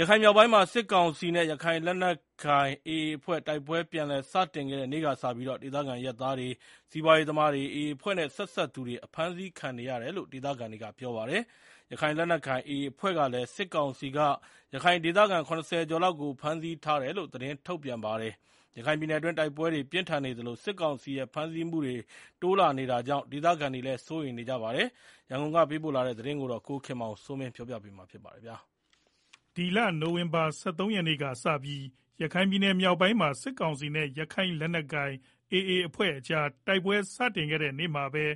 ရခိုင်မြောက်ပိုင်းမှာ စစ်ကောင်စီနဲ့ ရခိုင်လက်နက်ကိုင် AA အဖွဲ့ တိုက်ပွဲ ပြန်လည်စတင်ခဲ့တဲ့ နေ့ကစပြီး ဒေသခံအရပ်သားတွေ၊ စီးပွားရေးသမားတွေ၊ AA အဖွဲ့နဲ့ ဆက်စပ်သူတွေ အဖမ်းအဆီး ခံနေရတယ်လို့ ဒေသခံတွေက ပြောပါတယ်။ ရခိုင်လက်နက်ကိုင် AA အဖွဲ့ကလည်း စစ်ကောင်စီက ရခိုင်ဒေသခံ ၇၀ ကျော်လောက်ကို ဖမ်းဆီး ထားတယ်လို့ သတင်းထုတ်ပြန်ပါတယ်။ ရခိုင်ပြည်နယ်တွင်း တိုက်ပွဲတွေ ပြင်းထန်နေသလို စစ်ကောင်စီရဲ့ဖမ်းဆီးမှုတွေ တိုးလာနေတာကြာင့် ဒေသခံတွေလည်း စိုးရိမ်နေကြပါတယ်။ ရန်ကုန်ကလာတဲ့ သတင်းကို ကိုခင်မောင်စိုးမင်းက ကတင်ပြပေးပါမယ်။ ပြီးခဲ့တဲ့ နိုဝင်ဘာ ၁၃ရက်နေ့က စပြီး ရခိုင်မြောက်ပိုင်းမှာ စစ်ကောင်စီနဲ့ ရခိုင်လက်နက်ကိုင် AA အဖွဲ့ကြား တိုက်ပွဲ စတင်ခဲ့တဲ့ နေ့မှာပဲ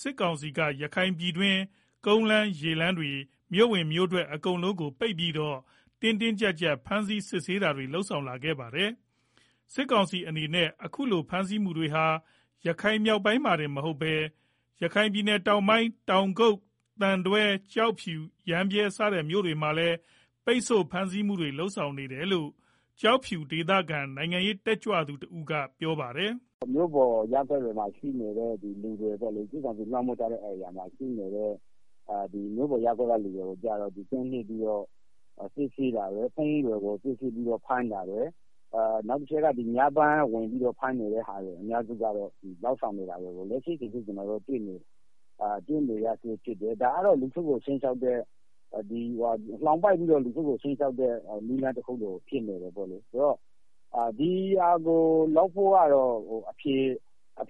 စစ်ကောင်စီက ရခိုင်ပြည်တွင်း ကုန်းလမ်း ရေလမ်းတွေ မြို့ဝင်မြို့ထွက် အကုန်လုံးကို ပိတ်ပြီးတော့ တင်းတင်းကြပ်ကြပ်ဖမ်းဆီး စစ်ဆေးတာတွေ လုပ်ဆောင် လာခဲ့တာပါ။ စစ်ကောင်စီအနေနဲ့အခုလို ဖမ်းဆီးမှုတွေဟာ ရခိုင်မြောက်ပိုင်း မှာတင် မဟုတ်ပဲ ရခိုင်ပြည်နယ် တောင်ပိုင်း တောင်ကုတ်၊ သံတွဲ၊ ကျောက်ဖြူ ၊ ရမ်းဗြဲ စတဲ့ မြို့နယ် တွေမှာလည်း ပိတ်ဆို့ဖမ်းဆီး မှုတွေ လုပ်ဆောင်နေတယ်လို့ ကျောက်ဖြူဒေသခံနိုင်ငံရေး တက်ကြွလှုပ်ရှားသူ တဦးကပြောပါတယ်။ “မြို့ပေါ်ရပ်ကွက်တွေမှာ ရှိနေတဲ့လူတွေ စစ်ကောင်စီလွှမ်းမိုးထားတဲ့နေရာမှာရှိနေတဲ့ မြို့ပေါ်ရပ်ကွက်က လူတွေကို ကျတော့ ကင်းလှည့်ပြီးတော့ စစ်ဆေးတာတွေ၊ ဖုန်းတွေကို စစ်ဆေးပြီးတော့ ဖမ်းတာတွေ။ နောက်တချက်က ညပိုင်းဝင်ပြီးတော့ ဖမ်းတာတွေ လုပ်နေတာကို တွေ့ရတယ်။ ဒါကတော့ လူထုကို လှောင်ပိတ်ပြီးတော့ ခြိမ်းခြောက်တဲ့ နည်းလမ်းတခု ဖြစ်နေတယ်ပေါ့လေ။ ဆိုတော့ ဒီဟာကို ဖြေ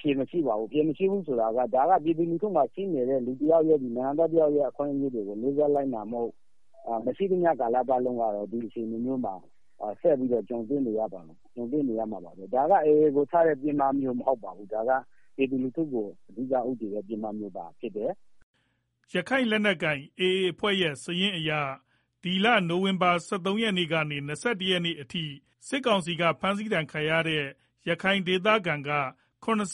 ရှင်းဖို့ အဖြေမရှိဘူး ဒါက နိုင်ငံသား တယောက်မှာရှိတဲ့ အခွင့်အရေးတွေကို လေးစားလိုက်နာမှု မရှိသမျှ ကာလပတ်လုံးကတော့ ဒီအခြေအနေမျိုးမှာ ဆက်ပြီးတော့ ကြုံတွေ့နေရပါမယ်၊ ဒါက AA ကို ထားတဲ့ ပစ်မှတ်မဟုတ်ဘူး၊ ပြည်သူကို ဦးတည်တဲ့ ပစ်မှတ်မျိုးသာဖြစ်တယ်” ရခိုင်လက်နက်ကိုင် AA အဖွဲ့ရဲ့ စာရင်းအရ နိုဝင်ဘာလ ၁၃ ရက်နေ့ကနေ ၂၁ ရက်နေ့အထိ စစ်ကောင်စီက ဖမ်းဆီးတာ ခံရတဲ့ ရခိုင်ဒေသခံက ၇၂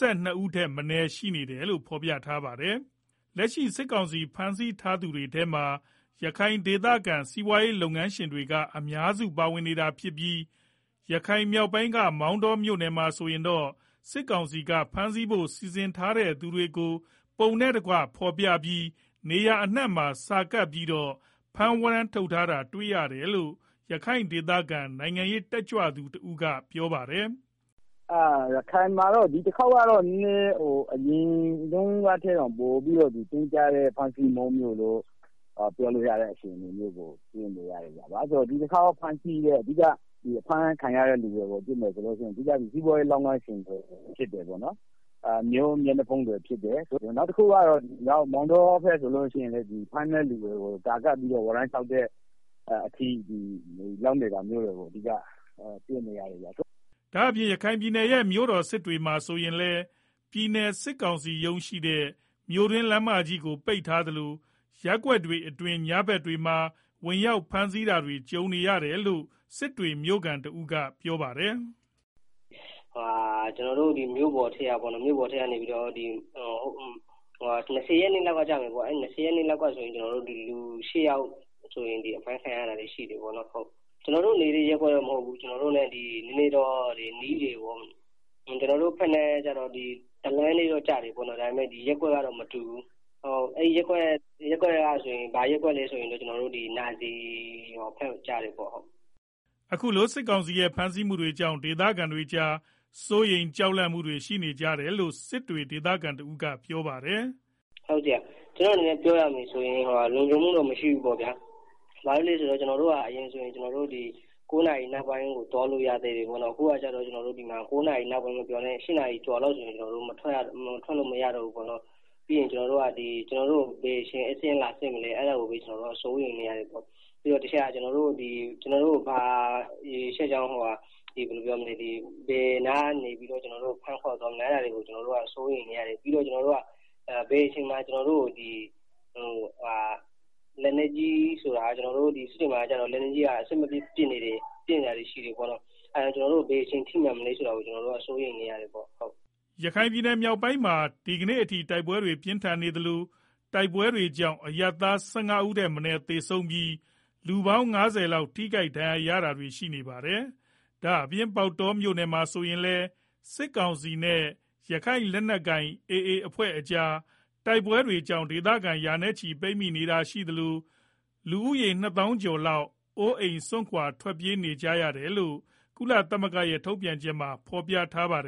ဦး ထက်မနည်း ရှိနေတယ်လို့ ဖော်ပြထားပါတယ်။ လက်ရှိစစ်ကောင်စီ ဖမ်းဆီးထားသူ တွေထဲမှာ ရခိုင်ဒေသခံ စီးပွားလုပ်ငန်းရှင်တွေက အများစုပါဝင် နေတာ ဖြစ်ပြီး ရခိုင်မြောက်ပိုင်းက မောင်တောမြို့နယ်မှာဆိုရင်တော့ စစ်ကောင်စီက ဖမ်းဆီးဖို့ စီစဉ်ထားသူတွေကို ပုံနဲ့ တကွ ဖေါ်ပြပြီး နေရာအနှံ့ မှာ စာကပ်ပြီးတော့ ဖမ်းဝရမ်း ထုတ်တာ တွေ့ရတယ်လို့ ရခိုင်ဒေသခံနိုင်ငံရေး တက်ကြွလှုပ်ရှားသူတဦးကပြောပါတယ်။ “ ရခိုင်မှာ ဒီတခေါက်ကတော့ အရင်တုန်းကထက် တင်းကြပ်တဲ့ ဖမ်းဆီးမှုမျိုးလို့ ပြောလို့ရ တယ်၊ ဘာကြောင့် လဲဆိုတော့ ဒီတခေါက် အဖမ်းခံရတဲ့ လူတွေကို ကြည့်မယ်ဆိုလို့ရှိရင် စီးပွားရေး လုပ်ငန်းရှင်တွေ ဖြစ်တယ်၊ မြို့မျက်နှာဖုံးတွေဖြစ်တယ်၊ နောက်တခု ကတော့ မောင်တော ဖက်ဆိုလို့ ရှိရင်လည်း ဖမ်းမယ့်သူတွေကို စာကပ်ပြီးတော့ ဝရမ်းထုတ်တဲ့ အထိ လုပ်နေတာရှိ တယ်။” ဒါ့အပြင် ရခိုင်ပြည်နယ်ရဲ့ မြို့တော် စစ်တွေမှာ ဆိုရင်လည်း ပြည်နယ်စစ်ကောင်စီရုံးရှိတဲ့ မြို့တွင်း လမ်းမကြီးကို ပိတ်ထားသလို ရပ်ကွက်တွေ အတွင်း ညဖက်တွေမှာ ဝင်ရောက်ဖမ်း ဆီးတာတွေ ကြုံနေရတယ်လို့ စစ်တွေမြို့ခံတဦးကပြောပါတယ်။ “ ကျနော်တို့မြို့ပေါ်ရပ်ကွက်ထဲကပေါ့နော် ၂ဝရက်နေ့လောက်ကဖြစ်မယ်၊ လူ ၈ယောက် အဖမ်းခံ ရတာရှိတယ်၊ ကျနော်တို့ နေတဲ့ ရပ်ကွက်တော့ မဟုတ်ဘူး နီးတော့နီးတယ်။ နီးတယ်ဆိုတာက လမ်းကတော့ တလမ်းထဲ ကျတယ်၊ ရပ်ကွက်တော့မတူဘူး ဘာရပ်ကွက် လဲဆိုတော့ နာဇီရပ်ကွက် ဖြစ်တယ်။ ” အခုလို စစ်ကောင်စီရဲ့ ဖမ်းဆီးမှုတွေကြောင့် ဒေသခံတွေကြား စိုးရိမ်ကြောက်လန့်နေမှုတွေ ရှိနေကြတယ် လို့စစ်တွေ ဒေသခံတဦးကပြောပါတယ်။ “ ကျနော်အနေနဲ့ ပြောရမယ်ဆိုရင် လုံခြုံမှုတော့ မရှိဘူးပေါ့ဗျာ၊ ဘာလို့လည်းဆိုတော့ ကျနော်တို့ အရင်ဆိုရင် ၉နာရီနောက်ပိုင်းကို သွားလာလို့ ရနေသေးတယ်။ အခုကဒီမှာ ၉နာရီမပြောနဲ့ ၈နာရီ ဆိုရင်တောင် မထွက်ရတော့ဘူး။ပြီးတော့ ဘယ်အချိန် ဧည့်စာရင်းလာစစ်မလဲ စိုးရိမ်နေရတယ် ပြီးတော့ ကျနော်တို့ကိုဘာကြောင့် ဘယ်နားကနေဖမ်းခေါ်သွားမလဲ ကျနော်တို့က စိုးရိမ် နေရ တယ်။ ပြီးတော့ စစ်တွေမှာက လက်နက်ကြီးတွေ ပစ်နေတာရှိတော့ ဘယ်အချိန်လာထိ မလဲဆိုတာကိုလည်း စိုးရိမ်နေရတယ်။” ရခိုင်မြောက်ပိုင်းမှာ ဒီကနေ့အထိ တိုက်ပွဲတွေပြင်းထန်နေသလို တိုက်ပွဲတွေကြောင့် အရပ်သား ၁၅ဦး ထက်မနည်း သေဆုံးပြီး လူပေါင်း ၅ဝလောက် ထိခိုက်ဒဏ်ရာရှိခဲ့ထား တာပါ။ ဒါ့အပြင် ပေါက်တောမြို့ပေါ် မှာလည်း စစ်ကောင်စီ နဲ့ ရခိုင်လက်နက်ကိုင် AA အဖွဲ့ကြား တိုက်ပွဲတွေကြောင့် ဒေသခံ ရာနဲ့ချီ ပိတ်မိနေတာ ရှိသလို လူဦးရေ ၂၀၀၀၀ ကျော်လောက် အိုးအိမ်စွန့်ခွာ ထွက်ပြေးနေကြရတယ်လို့ ကုလသမဂ္ဂရဲ့ ထုတ်ပြန်ချက်မှာ ဖော်ပြထားပါတယ်